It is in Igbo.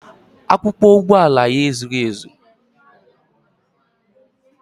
Akwụkwọ ụgbọala ya ezughị ezu